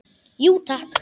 Jú, takk.